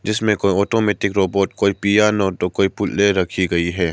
इसमें कोई automatic robot कोई पियानो तो कोई रखी गई है।